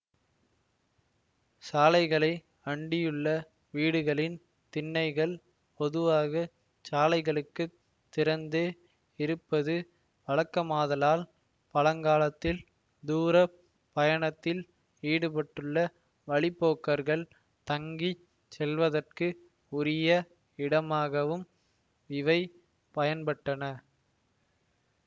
சாலைகளை அண்டியுள்ள வீடுகளின் திண்ணைகள் பொதுவாக சாலைகளுக்குத் திறந்தே இருப்பது வழக்கமாதலால் பழங்காலத்தில் தூரப் பயணத்தில் ஈடுபட்டுள்ள வழி போக்கர்கள் தங்கி செல்வதற்கு உரிய இடமாகவும் இவை பயன்பட்டன